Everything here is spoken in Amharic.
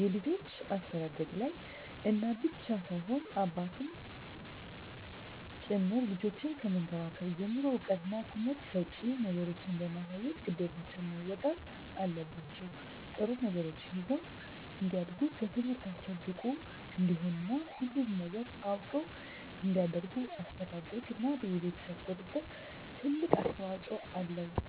የልጆች አስተዳደግላይ እናት ብቻ ሳትሆን አባትም ጭምር ልጆችን ከመንከባከብ ጀምሮ እዉቀትና ትምህርት ሰጭ ነገሮችን በማሳየት ግዴታቸዉን መወጣት አለባቸዉ ጥሩ ነገሮችን ይዘዉ እንዲያድጉ በትምህርታቸዉ ብቁ እንዲሆኑ እና ሁሉንም ነገር አዉቀዉ እንዲያድጉ አስተዳደርግ እና የቤተሰብ ቁጥጥር ትልቅ አስተዋፅኦ አለዉ